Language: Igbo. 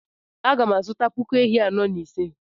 Aga m azụta puku ehi iri anọ na ise.